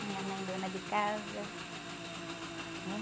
Minha mãe dona de casa, né?